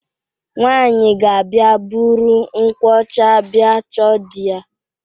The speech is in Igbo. Nwaanyị ga-abịa buru nkwụ ọcha bịa chọọ di ya.